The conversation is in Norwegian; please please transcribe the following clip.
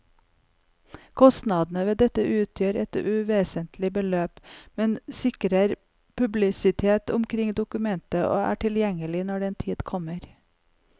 Kostnadene ved dette utgjør et uvesentlig beløp, men sikrer publisitet omkring dokumentet og er tilgjengelig når den tid kommer.